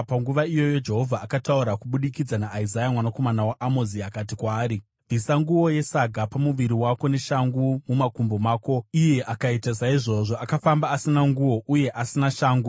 panguva iyoyo Jehovha akataura kubudikidza naIsaya mwanakomana waAmozi. Akati kwaari, “Bvisa nguo yesaga pamuviri wako neshangu mumakumbo mako.” Iye akaita saizvozvo, akafamba asina nguo uye asina shangu.